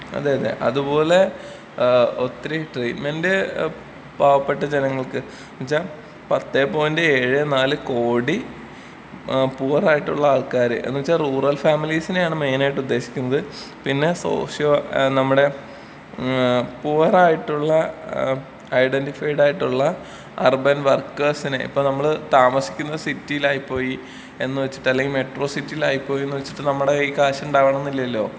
അതെ അതെ അത് പോലെ ഏ ഒത്തിരി ട്രീറ്റ് മെന്റ് പാവപ്പെട്ട ജനങ്ങൾക്ക് ന്ന് വെച്ച പത്തെ പോയിന്റ് ഏഴേ നാല് കോടി ഏ പുവറായിട്ടുള്ള ആള് ക്കാര് ന്ന് വെച്ച റൂറൽ ഫാമിലിസിനെയാണ് മൈന് ആയിട്ട് ഉദ്ദേശിക്കുന്നത് പിന്നെ സൊശ്യോ നമ്മടെ ഏ പുവർ ആയിട്ടുള്ള ഐഡെന്റിഫായിട്ടുള്ള അർബൻ വർക്കേഴ്സിനെ ഇപ്പൊ നമ്മള് താമസിക്കുന്ന സിറ്റിയിലായി പോയി എന്ന് വെച്ചിട്ട് അല്ലെങ്കി മെട്രോ സിറ്റിയിലായി പോയി എന്ന് വെച്ചിട്ട് നമ്മടെ കയ്യിൽ ക്യാഷ് ഉണ്ടാവണംന്നില്ലല്ലോ.